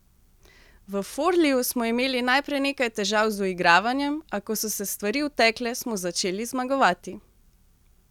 V Forliju smo imeli najprej nekaj težav z uigravanjem, a ko so se stvari utekle, smo začeli zmagovati.